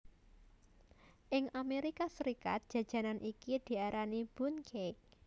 Ing Amerika Serikat jajanan iki diarani Bundt Cake